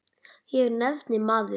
Og nafnið, maður.